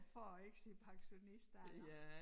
For at ikke sige pensionistalder